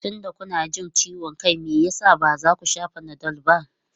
Tunda kuna jin ciwon kai, me yasa ba za ku sha Panadol ba?